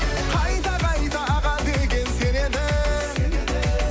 қайта қайта аға деген сен едің сен едің